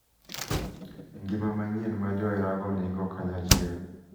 E ngima manyien ma joherago nigo kanyachiel.